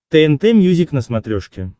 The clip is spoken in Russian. тнт мьюзик на смотрешке